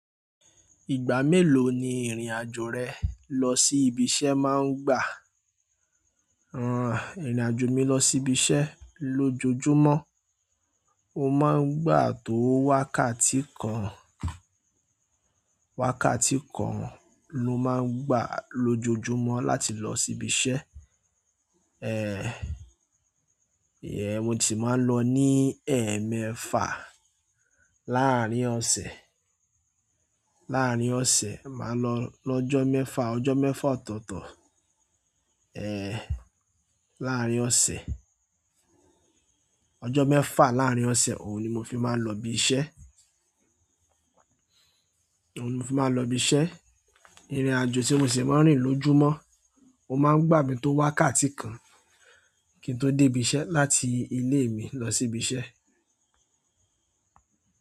Ìgbà melo ni ìrìn àjò rẹ lọ sí ibi iṣẹ́ má ń gba, ìrìn àjò mi lọ sí ibiṣẹ́ lójojúmọ́ oma ń gba tó wákàtí kan wákàtí kan ló máa ń gbà lójoojúmọ́ láti lọ sí ibi iṣẹ́. Eéh, ìyẹn mo tí máa ń lọ ní ẹ̀ẹ̀mẹ́fa láàrín ọ̀sẹ̀ láàrín ọ̀sẹ̀ lọ́jọ́ mẹ́fà tantan ọjọ́ mẹ́fà, ọjọ́ mẹ́fà láàrín ọ̀sẹ̀ ni mo fi má lọ ibi iṣẹ́ òun ni mo fi máa ń lọ ibi iṣẹ́. Ìrìn-àjò tí mo ṣì máa ń rìn lójúmọ́, ó máa ń gbà mi tó wákàtí kan kí n tó dé ibi iṣẹ́ láti ìle mi lọ sí ibi iṣẹ́.